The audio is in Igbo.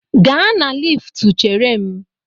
Gaa na liftu chere m!